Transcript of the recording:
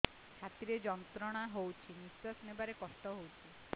ଛାତି ରେ ଯନ୍ତ୍ରଣା ହଉଛି ନିଶ୍ୱାସ ନେବାରେ କଷ୍ଟ ହଉଛି